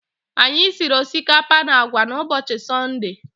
Anyị siri osikapa na agwa n'ụbọchị Sọnde